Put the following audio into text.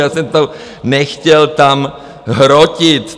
Já jsem to nechtěl tam hrotit.